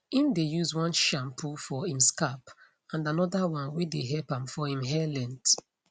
im dae use one shampoo for him scalp and another one wae dae help am for im hair length